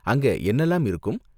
அங்க என்னலாம் இருக்கும்?